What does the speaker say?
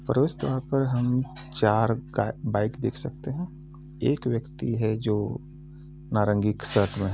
प्रवेशद्वार पर हम चार ग बाइक देख सकतें हैं। एक व्यक्ती हैं जो नारंगी शर्ट में हैं।